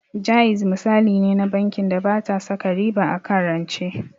Jaiz misali ne na bankin da bata saka riba akan rance